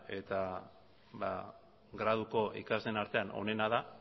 eta graduko ikasleen artean onena da